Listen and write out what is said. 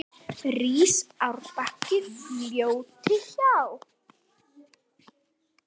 Rís árbakki fljóti hjá.